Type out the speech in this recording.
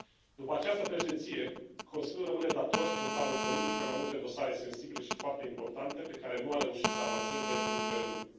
După această președinție, Consiliul rămâne dator în planul politic pe mai multe dosare sensibile și foarte importante pe care nu a reușit să avanseze în ultimele luni.